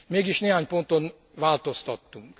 Mégis néhány ponton változtattunk.